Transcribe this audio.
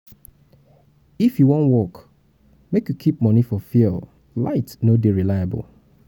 if you wan work make you keep moni for fuel light no dey reliable.